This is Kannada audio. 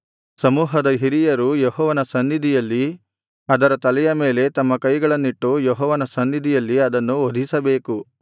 ಸಮೂಹದ ಹಿರಿಯರು ಯೆಹೋವನ ಸನ್ನಿಧಿಯಲ್ಲಿ ಅದರ ತಲೆಯ ಮೇಲೆ ತಮ್ಮ ಕೈಗಳನ್ನಿಟ್ಟು ಯೆಹೋವನ ಸನ್ನಿಧಿಯಲ್ಲಿ ಅದನ್ನು ವಧಿಸಬೇಕು